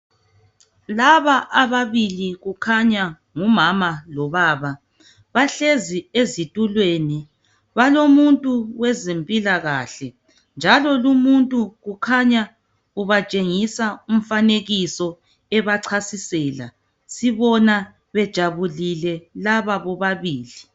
Laba ababili kukhanya ngumama lobaba bahlezi ezitulweni. Balomuntu wezempilakahle njalo lumuntu kukhanya ubatshengisa umfanekiso ebachasisela. Sibona bejabulile laba bobabili.